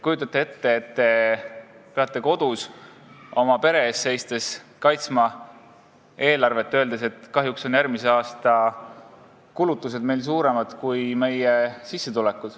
Kujutage ette, et te peate kodus oma pere ees seistes kaitsma pere eelarvet ja ütlema, et kahjuks on meil järgmise aasta kulutused suuremad kui sissetulekud.